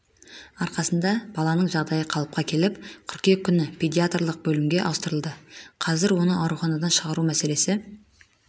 арқасында баланың жағдайы қалыпқа келіп қыркүйек күні педиатрлық бөлімге ауыстырылды қазір оны ауруханадан шығару мәселесі